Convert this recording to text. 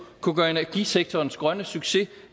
kunne gøre energisektorens grønne succes